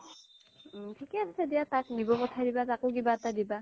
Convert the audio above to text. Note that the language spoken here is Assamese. থিকে আছে দিয়া তাক নিব পথাই দিবা তাকো কিবা এটা দিবা